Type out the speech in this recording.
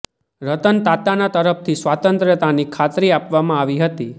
રતન તાતા તરફથી સ્વતંત્રતાની ખાતરી આપવામાં આવી હતી